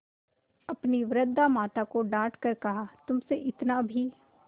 अपनी वृद्धा माता को डॉँट कर कहातुमसे इतना भी